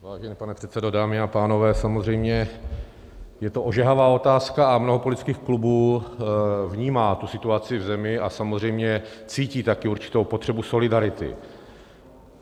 Vážený pane předsedo, dámy a pánové, samozřejmě je to ožehavá otázka a mnoho politických klubů vnímá tu situaci v zemi a samozřejmě cítí taky určitou potřebu solidarity.